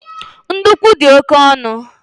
Ndukwu di oke onu